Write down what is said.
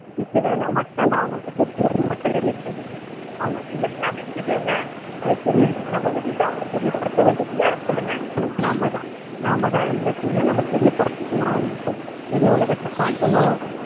வீட்டு மேலை மட்டும் தான் அவங்களுக்கு தெரியும்ன்னு மட்டும் நினைக்காதீங்க. அவங்களுக்கு எல்லாமே தெரியுங்க. அது தெரியுறதுக்கு நம்ம வெளியில அவங்களை தெரியப்படுத்த வேண்டியது யார் சொல்லுங்க. நாம தான். நாம தான் எல்லாத்தையுமே நம்ம தெரியப்படுத்தணும் அவங்களுக்கு. வெளி உலகத்தை காட்டணும்.